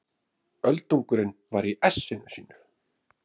Öldungurinn var í essinu sínu.